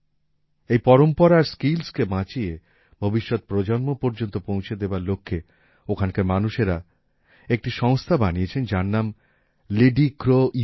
এই পরম্পরা আর স্কিলসকে বাঁচিয়ে ভবিষ্যৎ প্রজন্ম পর্যন্ত পৌঁছে দেবার লক্ষ্যে ওখানকার মানুষেরা একটি সংস্থা বানিয়েছেন যার নাম লিডি ক্রো ইউ